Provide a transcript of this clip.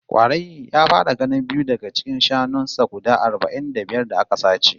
Kwarai, ya fara ganin biyu daga cikin shanun sa guda arba'in da biyar da aka sace